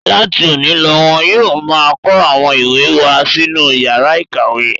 Láti òní lọ wọn yóò máa kó àwọn ìwé wá sínú ìyàrá-ìkàwé.